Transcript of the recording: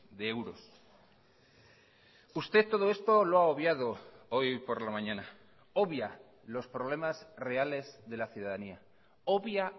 de euros usted todo esto lo ha obviado hoy por la mañana obvia los problemas reales de la ciudadanía obvia